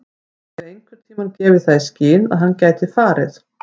Höfum við einhverntímann gefið það í skyn að hann gæti farið?